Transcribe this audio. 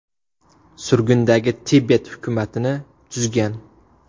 Surgundagi Tibet hukumatini tuzgan.